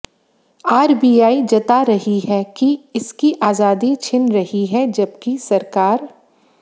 RBI जता रही है कि इसकी आजादी छिन रही है जबकि सरकार